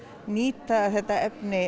nýta efnið